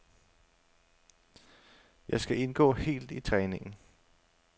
Jeg skal indgå helt i træningen.